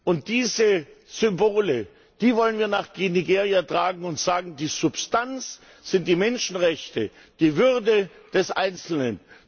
Und diese Symbole, die wollen wir nach Nigeria tragen und sagen, die Substanz sind die Menschenrechte, ist die Würde des Einzelnen.